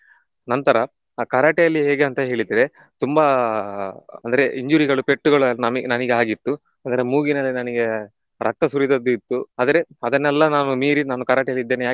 ನಂತರ Karate ಅಲ್ಲಿ ಹೇಗೆ ಅಂತ ಹೇಳಿದ್ರೆ ತುಂಬಾ ಅಂದ್ರೆ injury ಗಳು ಪೆಟ್ಟುಗಳು ನಮಿ~ ನನಿಗ್ ಆಗಿತ್ತು ಅಂದ್ರೆ ಮೂಗಿನಲ್ಲಿ ನನಿಗೆ ರಕ್ತ ಸುರಿದದ್ದು ಇತ್ತು ಆದರೆ ಅದನ್ನೆಲ್ಲ ನಾನು ಮೀರಿ ನಾನು Karate ಅಲ್ಲಿ ಇದ್ದೇನೆ.